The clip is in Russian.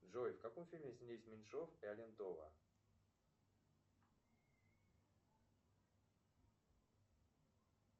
джой в каком фильме снялись меньшов и алентова